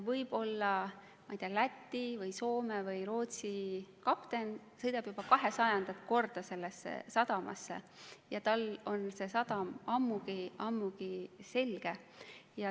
Võib-olla mõni Läti või Soome või Rootsi kapten sõidab juba kahesajandat korda sellesse sadamasse ja tal on see ammugi selge.